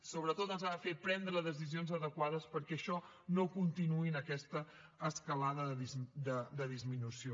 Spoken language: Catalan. sobretot ens ha de fer prendre decisions adequades perquè això no continuï en aquesta escalada de disminució